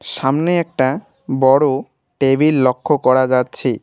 সামনে একটা বড়ো টেবিল লক্ষ্য করা যাচ্ছে।